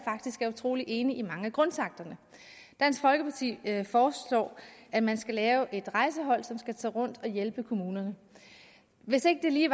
utrolig enig i mange af grundtakterne dansk folkeparti foreslår at man skal lave et rejsehold som skal tage rundt og hjælpe kommunerne hvis ikke lige